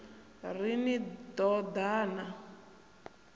ri ni ḓo ḓa na